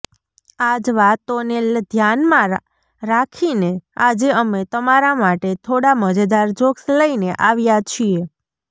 આ જ વાતોને ધ્યાનમાં રાખીને આજે અમે તમારા માટે થોડા મજેદાર જોક્સ લઈને આવ્યા છીએ